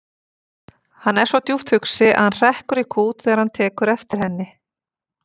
Hann er svo djúpt hugsi að hann hrekkur í kút þegar hann tekur eftir henni.